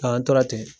An tora ten